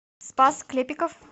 спас клепиков